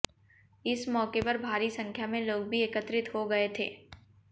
इस मौके पर भारी संख्या में लोग भी एकत्रित हो गए थे